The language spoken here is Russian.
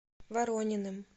ворониным